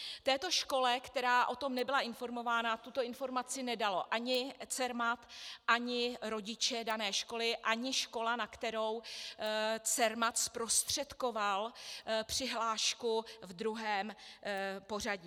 Této škole, která o tom nebyla informována, tuto informaci nedal ani Cermat, ani rodiče dané školy, ani škola, na kterou Cermat zprostředkoval přihlášku ve druhém pořadí.